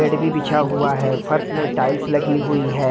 Bed भी बिछा हुआ है फर्स में टाइल्स लगी हुई है।